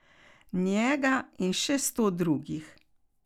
Njega in še sto drugih.